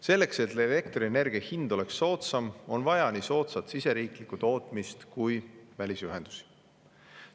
Selleks, et elektrienergia hind oleks soodsam, on vaja nii soodsat siseriiklikku tootmist kui ka välisühendusi.